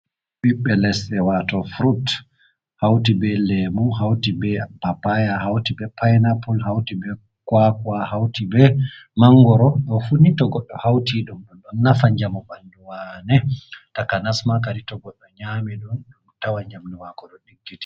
Ɓiɓɓe leɗɗee wato furut, hauti be lemu, hauti be pappaya, hauti be painapul hauti be kwakwa, hauti be mangoro, ɗo fuu ni itogodo hauti dum ɗon nafa jamu ɓandu wane, takanasma to goɗɗo nyami ɗum tawa ɓandu mako ɗo digiti.